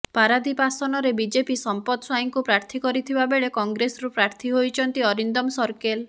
ପାରାଦୀପ ଆସନରେ ବିଜେପି ସମ୍ପଦ ସ୍ବାଇଁଙ୍କୁ ପ୍ରାର୍ଥୀ କରିଥିବାବେଳେ କଂଗ୍ରେସରୁ ପ୍ରାର୍ଥୀ ହୋଇଛନ୍ତି ଅରିନ୍ଦମ ସର୍କେଲ